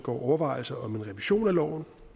overvejelser om en revision af loven